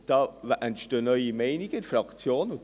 Da entstehen in der Fraktion neue Meinungen.